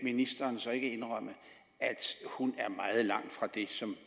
ministeren så ikke indrømme at hun er meget langt fra det som